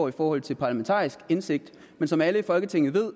i forhold til parlamentarisk indsigt men som alle i folketinget ved